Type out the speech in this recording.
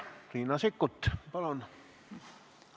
Riina Sikkut, palun!